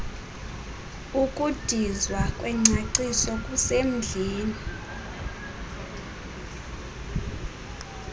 ukudizwa kwengcaciso kusemdleni